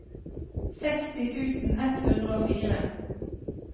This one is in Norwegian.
seksti tusen ett hundre og fire